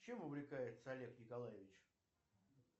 чем увлекается олег николаевич